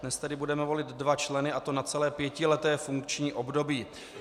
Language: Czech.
Dnes tedy budeme volit dva členy, a to na celé pětileté funkční období.